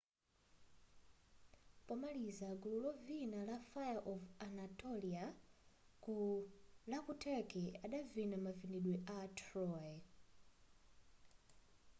pomaliza gulu lovina la fire of anatolia la kuturkey adavina mavinidwe a troy